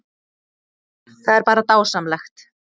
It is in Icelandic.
Það er bara dásamlegt